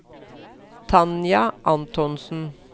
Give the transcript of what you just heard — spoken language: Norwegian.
Tanja Antonsen